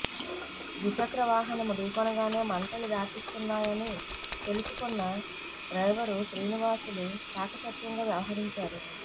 ద్విచక్ర వాహనం ఢీకొనగానే మంటలు వ్యాపిస్తున్నాయని తెలుసుకున్న డ్రైవరు శ్రీనివాసులు చాకచక్యంగా వ్యవహరించాడు